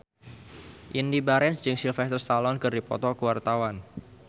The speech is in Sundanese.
Indy Barens jeung Sylvester Stallone keur dipoto ku wartawan